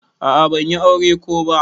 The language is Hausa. A'a ban yi aure ko ba.